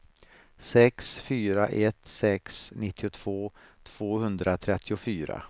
sex fyra ett sex nittiotvå tvåhundratrettiofyra